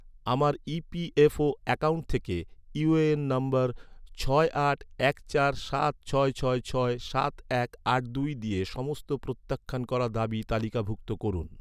আমার EPFO ​​account থেকে UAN number ছয় আট এক চার সাত ছয় ছয় ছয় সাত এক আট দুই দিয়ে সমস্ত প্রত্যাখ্যান করা দাবি তালিকাভুক্ত করুন